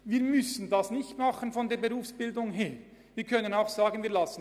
Wir sind aus Sicht der Berufsbildung nicht dazu verpflichtet, sondern könnten dies auch unterlassen.